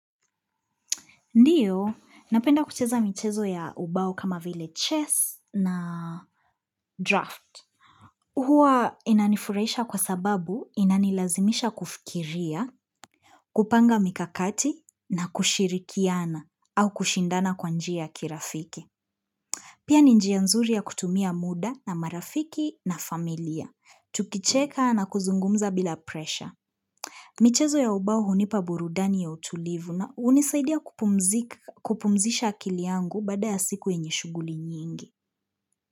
Ndio, napenda kucheza michezo ya ubao kama vile chess na draft. Huwa inanifurahisha kwa sababu inanilazimisha kufikiria, kupanga mikakati na kushirikiana au kushindana kwa njia ya kirafiki. Pia ni njia nzuri ya kutumia muda na marafiki na familia. Tukicheka na kuzungumza bila pressure. Michezo ya ubao hunipa burudani ya utulivu na hunisaidia kupumzika kupumzisha akili yangu baada ya siku yenye shughuli nyingi.